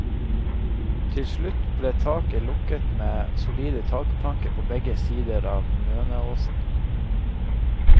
Til slutt ble taket ble lukket med solide takplanker på begge sider av møneåsen.